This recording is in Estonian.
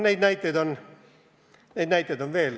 Ja neid näiteid on veel.